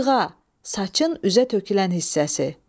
Cığa, saçın üzə tökülən hissəsi.